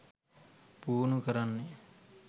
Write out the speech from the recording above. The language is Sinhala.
පුහුණු කරන්නෙ.